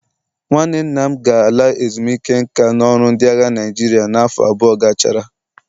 Nwanne nna m ga-ala ezumike nka n'ọrụ ndị agha mmiri Naịjirịa n'afọ abụọ gachara.